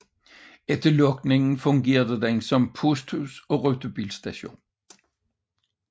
Efter lukningen fungerede den som posthus og rutebilstation